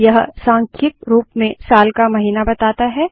यह सांख्यिक रूप में साल का महीना बताता है